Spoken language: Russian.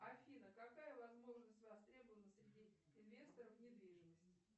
афина какая возможность востребована среди инвесторов недвижимости